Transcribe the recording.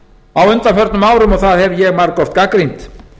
á undanförnum árum og það hef ég margoft gagnrýnt